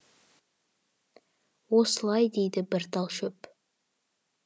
осылай дейді бір тал шөп